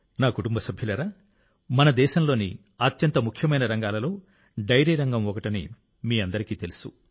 నా కుటుంబ సభ్యులారా మన దేశంలోని అత్యంత ముఖ్యమైన రంగాలలో డెయిరీ రంగం ఒకటని మీకందరికీ తెలుసు